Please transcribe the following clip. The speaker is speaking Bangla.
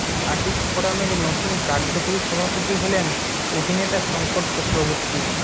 আর্টিস্ট ফোরামের নতুন কার্যকরী সভাপতি হলেন অভিনেতা শংকর চক্রবর্তী